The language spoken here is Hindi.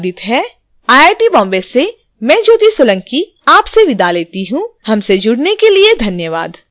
यह ट्यूटोरियल विकास द्वारा अनुवादित है आई आई टी बॉम्बे से मैं ज्योति सोलंकी आपसे विदा लेती हूँ हमसे जुडने के लिए धन्यवाद